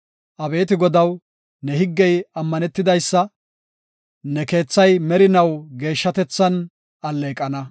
Abeeti Godaw, ne higgey ammanetidaysa; ne keethay merinaw geeshshatethan alleeqana.